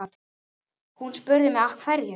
Hún spurði mig af hverju?